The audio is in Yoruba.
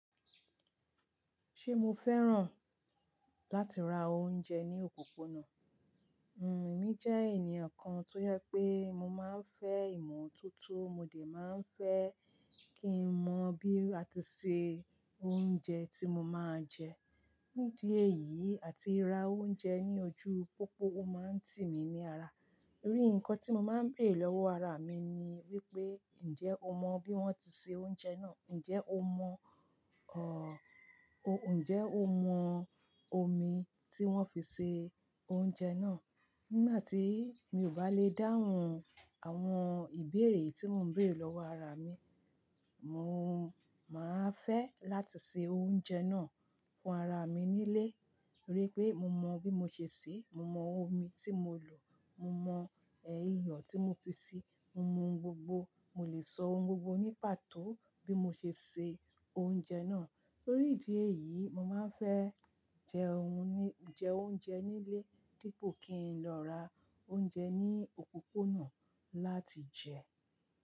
Ṣé mo fẹ́ràn láti ra oúnjẹ ní òpópónà? Hmm, èmi jẹ́ ènìyàn kan tó yẹ pé mo máa ń fẹ́ ìmọ̀ toto, mo dè máa ń fẹ́ kí n mọ bí a ti ṣe oúnjẹ tí mo máa ń jẹ. Nídìí èyí àti ra oúnjẹ ní ojú pópó ó máa ń tì mí ní ara. Nítorí nǹkan tí mo máa ń bèrè lọ́wọ́ ara mi ni wípé, ǹjẹ́ o mọ bí wón ti ṣe oúnjẹ náà? Ǹjẹ́ o mọ, ọ, ò, ǹjẹ́ o mọ omi tí wón fi ṣe oúnjẹ náà? Nígbà tí mi ò bá le dáhùn àwọn ìbéèrè tí mò ń gbèrè lọ́wọ́ ara mi, mo, máa fẹ́ láti se oúnjẹ náà fún ara mi nílé. Nítorí pé mo mọ bí mo ṣe ṣí, mo mọ omi tí mo lò, mo mọ iyo tí mo fi ṣi, mo mọ ohun gbogbo. Mo lè sọ ohun gbogbo ní pàtó bí mo ṣe se oúnjẹ náà. Nítorí ìdí èyí, mo máa ń fẹ́ jẹ oun-- jẹ oúnjẹ nílé dípò kí n lọ ra oúnjẹ ní òpópónà láti jẹ.